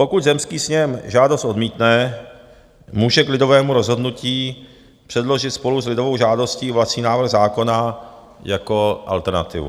Pokud zemský sněm žádost odmítne, může k lidovému rozhodnutí předložit spolu s lidovou žádostí vlastní návrh zákona jako alternativu.